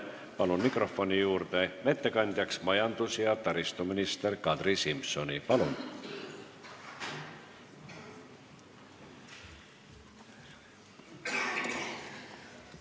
Palun mikrofoni juurde ettekandeks majandus- ja taristuminister Kadri Simsoni!